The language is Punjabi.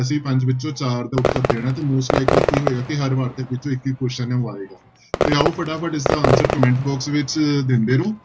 ਅਸੀਂ ਪੰਜ ਵਿੱਚੋਂ ਚਾਰ ਦਾ ਉੱਤਰ ਦੇਣਾ ਤੇ most likely ਕੀ ਹੋਏਗਾ ਕਿ ਹਰ ਵਾਰਤਕ ਵਿੱਚੋਂ ਇੱਕ ਇੱਕ question ਹੈ ਉਹ ਆਏਗਾ, ਤੇ ਆਓ ਫਟਾਫਟ ਇਸਦਾ answer comment box ਵਿੱਚ ਦਿੰਦੇ ਰਹੋ।